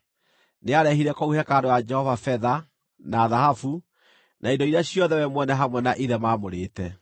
Nĩarehire kũu hekarũ ya Jehova betha, na thahabu, na indo iria ciothe we mwene hamwe na ithe maamũrĩte.